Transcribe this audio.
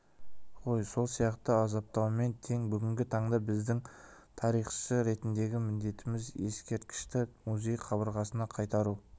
ғой сол сияқты азаптаумен тең бүгінгі таңда біздің тарихшы ретіндегі міндетіміз ескерткішті музей қабырғасына қайтару